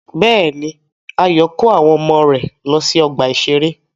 Bẹ́ẹ̀ni, Ayọ̀ yóò kó àwọn ọmọ rẹ̀ lọ sí ọgbà-ìṣeré.